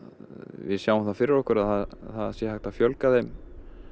við sjáum það fyrir okkur að það sé hægt að fjölga þeim